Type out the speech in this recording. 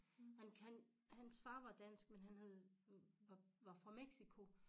Han han hans far var dansk men han havde var fra Mexico